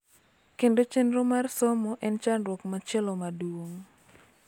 Kendo chenro mar somo en chandruok machielo maduong�.